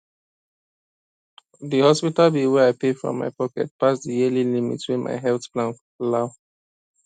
the hospital bill wey i pay from my pocket pass the yearly limit wey my health plan allow